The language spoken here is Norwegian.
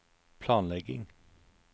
planlegging